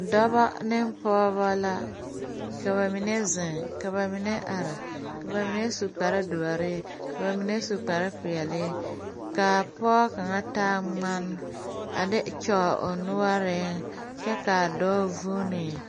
Dɔba ne pɔgeba la ka ba mine zeŋ ka ba mine are ka ba mine su kparedoɔre ka ba mine su kparepeɛle ka pɔge kaŋ taa ŋmane a de kyɔɔ o noɔreŋ kyɛ k,a dɔɔ vuune.